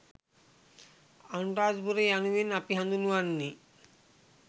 අනුරාධපුරය යනුවෙන් අපි හඳුන්වන්නේ